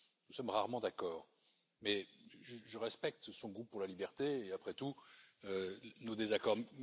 Nous sommes rarement d'accord, mais je respecte son goût pour la liberté et, après tout, nos désaccords.